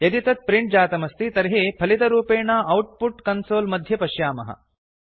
यदि तत् प्रिंट् जातमस्ति तर्हि फलितरूपेण औट्पुट् कन्सोल् मध्ये पश्यामः